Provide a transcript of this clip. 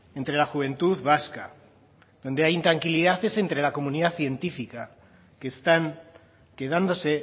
entre la juventud vasca donde hay intranquilidad es entre la comunidad científica que están quedándose